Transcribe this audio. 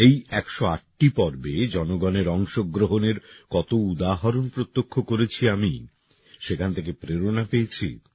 এই একশো আটটি পর্বে জনগণের অংশগ্রহণের কত উদাহরণ প্রত্যক্ষ করেছি আমি সেখান থেকে প্রেরণা পেয়েছি